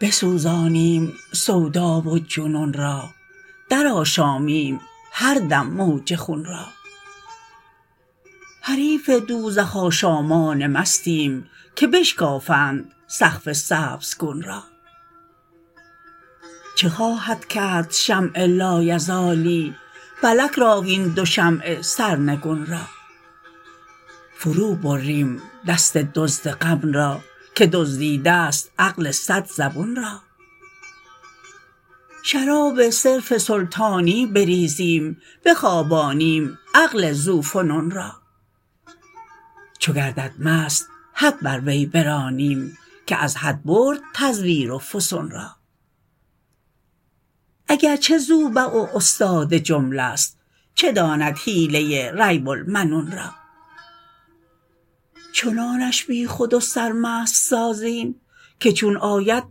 بسوزانیم سودا و جنون را درآشامیم هر دم موج خون را حریف دوزخ آشامان مستیم که بشکافند سقف سبزگون را چه خواهد کرد شمع لایزالی فلک را وین دو شمع سرنگون را فروبریم دست دزد غم را که دزدیده ست عقل صد زبون را شراب صرف سلطانی بریزیم بخوابانیم عقل ذوفنون را چو گردد مست حد بر وی برانیم که از حد برد تزویر و فسون را اگر چه زوبع و استاد جمله ست چه داند حیله ریب المنون را چنانش بی خود و سرمست سازیم که چون آید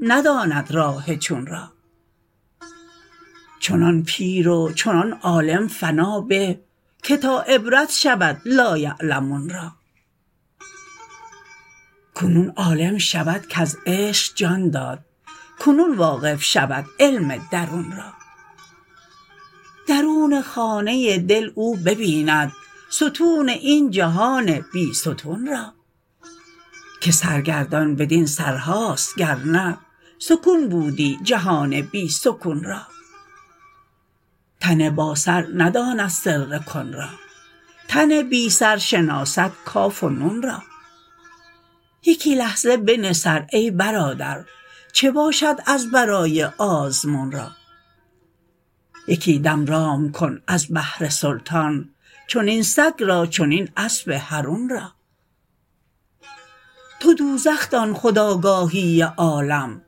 نداند راه چون را چنان پیر و چنان عالم فنا به که تا عبرت شود لایعلمون را کنون عالم شود کز عشق جان داد کنون واقف شود علم درون را درون خانه دل او ببیند ستون این جهان بی ستون را که سرگردان بدین سرهاست گر نه سکون بودی جهان بی سکون را تن باسر نداند سر کن را تن بی سر شناسد کاف و نون را یکی لحظه بنه سر ای برادر چه باشد از برای آزمون را یکی دم رام کن از بهر سلطان چنین سگ را چنین اسب حرون را تو دوزخ دان خود آگاهی عالم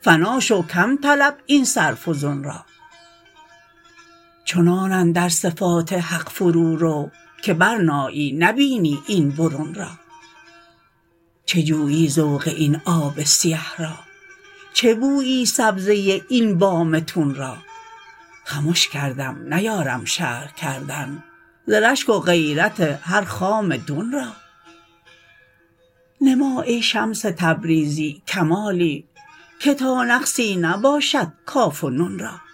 فنا شو کم طلب این سر فزون را چنان اندر صفات حق فرورو که برنایی نبینی این برون را چه جویی ذوق این آب سیه را چه بویی سبزه این بام تون را خمش کردم نیارم شرح کردن ز رشک و غیرت هر خام دون را نما ای شمس تبریزی کمالی که تا نقصی نباشد کاف و نون را